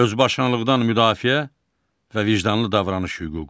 Özbaşınalıqdan müdafiə və vicdanlı davranış hüququ.